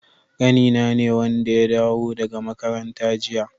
Ƙanina ne wanda ya dawo daga makaranta jiya.